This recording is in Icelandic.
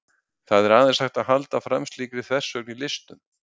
Það er aðeins hægt að halda fram slíkri þversögn í listum.